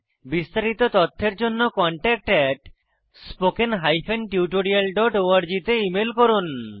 বিস্তারিত তথ্যের জন্য contactspoken tutorialorg তে ইমেল করুন